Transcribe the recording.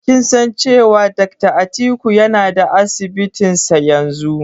Kin san cewa Dakta Atiku yana da Asibitinsa yanzu?